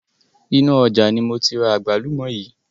Inu ọjà ni moti ra àgbálùmọ̀ yii